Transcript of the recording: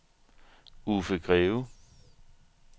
Uffe Greve